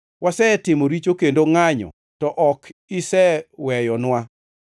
Wasetimo richo kendo ngʼanyo, to ok iseweyonwa.